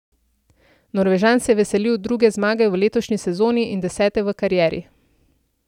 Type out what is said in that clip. Norvežan se je veselil druge zmage v letošnji sezoni in desete v karieri.